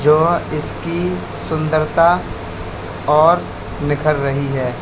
जो इसकी सुंदरता और निखर रही है।